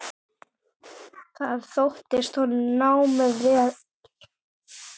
Þar sóttist honum námið vel.